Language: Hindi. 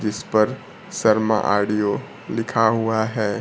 जिस पर शर्मा ऑडियो लिखा हुआ है।